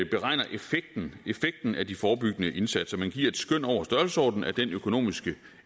beregner effekten af de forebyggende indsatser men giver et skøn over størrelsesordenen af den økonomiske